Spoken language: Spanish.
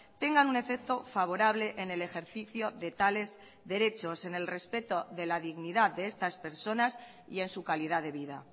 tengan un efecto favorable en el ejercicio de tales derechos en el respeto de la dignidad de estas personas y en su calidad de vida